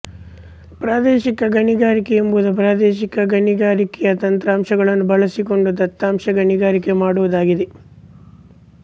ಪ್ರಾದೇಶಿಕ ಗಣಿಗಾರಿಕೆ ಎಂಬುದು ಪ್ರಾದೇಶಿಕ ಗಣಿಗಾರಿಕೆಯ ತಂತ್ರಾಂಶಗಳನ್ನು ಬಳಸಿಕೊಂಡು ದತ್ತಾಂಶ ಗಣಿಗಾರಿಕೆ ಮಾಡುವುದಾಗಿದೆ